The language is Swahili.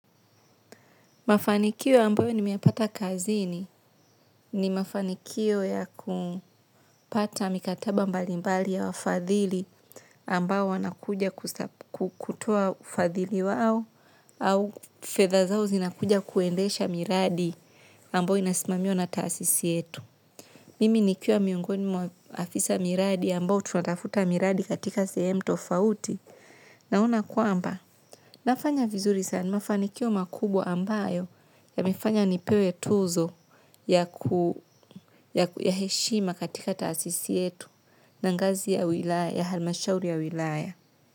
Mafanikio ambayo nimeyapata kazini ni mafanikio ya kupata mikataba mbalimbali ya wafadhili ambao wanakuja kutoa ufadhili wao au au fedha zao zinakuja kuendesha miradi ambayo inasimamiwa na taasisi yetu. Mimi nikiwa miongoni mwa afisa miradi ambao tunatafuta miradi katika sehemu tofauti naona kwamba. Nafanya vizuri sana, mafanikio makubwa ambayo yamefanya nipewe tuzo ya heshima katika taasisi yetu na ngazi ya wilaya, halmashauri ya wilaya.